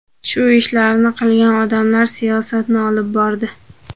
Shu ishlarni qilgan odamlar siyosatni olib bordi.